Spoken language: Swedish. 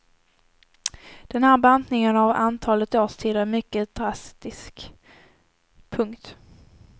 Den här bantningen av antalet årstider är mycket drastisk. punkt